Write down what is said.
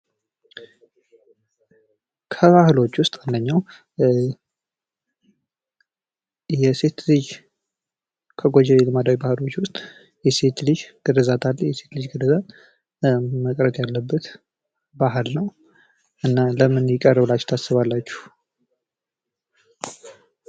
ከጎጂ ባህላዊ ልማዶች ውስጥ አንደኛው የሴት ልጅ ግርዛት አለ የሴት ልጅ ግርዛት መቅረት ያለበት ባህል ነው እና ለምን ይቀራል ብላችሁ ታስባላችሁ?